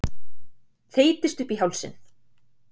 Þeytist upp í hálsinn.